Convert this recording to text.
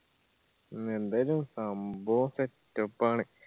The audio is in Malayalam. മ്മ് എന്തായാലു സംഭാവോ setup ആണ്.